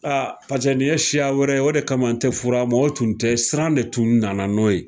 A pase nin ye siya wɛrɛ ye o de kama n tɛ fur'a ma o tun tɛ siran de tun nana n'o ye